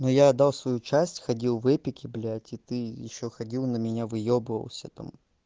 но я отдал свою часть ходил в эпике блять и ты ещё ходил на меня выебывался там